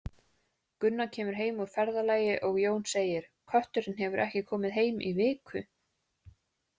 Gunna kemur heim úr ferðalagi og Jón segir Kötturinn hefur ekki komið heim í viku.